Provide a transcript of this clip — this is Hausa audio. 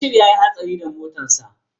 Bashir ya yi hatsari da motarsa